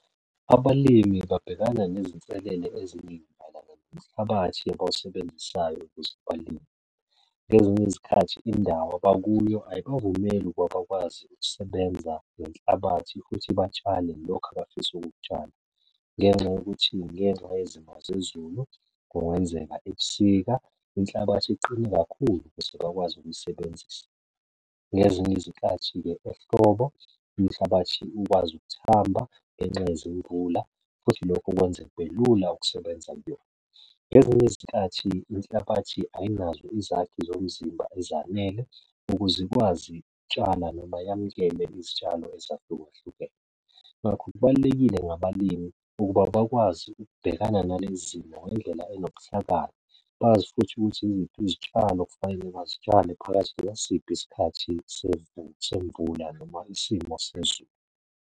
Abalimi babhekana nezinselele eziningi mayelana nomhlabathi abawusebenzisayo ukuze abalime, ngezinye izikhathi indawo abakuyo ayibavumeli ukuba abakwazi ukusebenza ngenhlabathi futhi batshale lokhu abafisa ukukutshala. Ngenxa yokuthi ngenxa yezimo zezulu kungenzeka ebusika inhlabathi iqine kakhulu bakwazi ukuyisebenzisa, ngezinye izikhathi-ke ehlobo inhlabathi ukwazi ukuthamba ngenxa yezimvula futhi lokho kwenza kube lula ukusebenza kuyona. Ngezinye izikhathi inhlabathi ayinazo izakhi zomzimba ezanele ukuze ikwazi tshala noma yamukele izitshalo ezahlukahlukene, ngakho kubalulekile ngabalimi ukuba bakwazi ukubhekana nale zimo ngendlela onobuhlakani. Bazi futhi ukuthi iziphi izitshalo okufanele bazitshalele phakathi ngasiphi isikhathi semvula noma isimo sezulu.